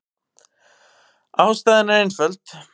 Ástæðan er einföld.